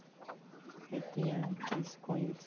Ele tinha isso com eles.